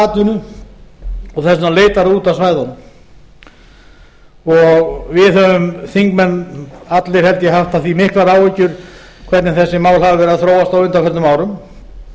atvinnu og þess vegna leitar það út af svæðunum við höfum þingmenn allir held ég haft af því miklar áhyggjur hvernig þessi mál hafa verið að þróast á undanförnum árum